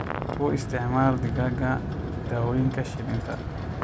U isticmaal digaagga dawooyinka shilinta.